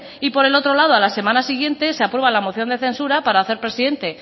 y por el otro lado a la semana siguiente se aprueba la moción de censura para hacer presidente